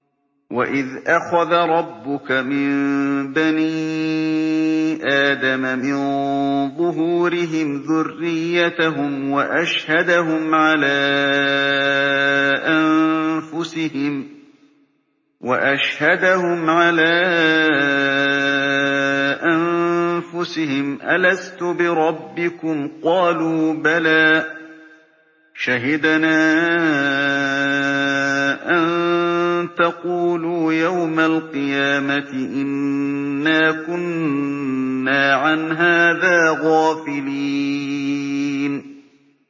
وَإِذْ أَخَذَ رَبُّكَ مِن بَنِي آدَمَ مِن ظُهُورِهِمْ ذُرِّيَّتَهُمْ وَأَشْهَدَهُمْ عَلَىٰ أَنفُسِهِمْ أَلَسْتُ بِرَبِّكُمْ ۖ قَالُوا بَلَىٰ ۛ شَهِدْنَا ۛ أَن تَقُولُوا يَوْمَ الْقِيَامَةِ إِنَّا كُنَّا عَنْ هَٰذَا غَافِلِينَ